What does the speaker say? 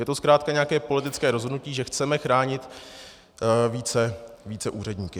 Je to zkrátka nějaké politické rozhodnutí, že chceme chránit více úředníky.